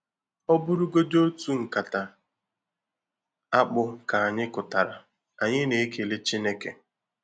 Ọ bụrụgodi otu nkata akpụ ka anyị kụtara, anyị na-ekele Chineke.